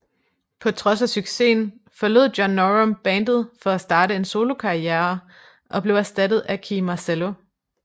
På trods af succesen forlod John Norum bandet for at starte en solokarrierer og blev erstattet af Kee Marcello